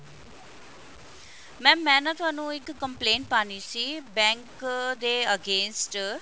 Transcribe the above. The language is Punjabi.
mam ਮੈਂ ਤੁਹਾਨੂੰ ਇੱਕ complaint ਪਾਣੀ ਸੀ bank ਦੇ against